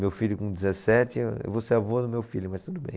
Meu filho com dezessete, eu vou ser avô do meu filho, mas tudo bem.